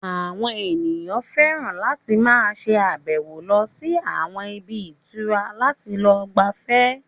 Àwọn èèyàn fẹ́ràn láti máa ṣe àbẹ̀wò lọ sí àwọn ibi ìtura láti lọ gbafẹ́